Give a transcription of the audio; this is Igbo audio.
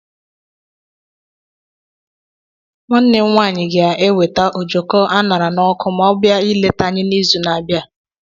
Nwanne m nwaanyi ga-eweta ojoko a ṅara n'ọkụ ma ọ bia ịleta anyị n'izu na-abịa.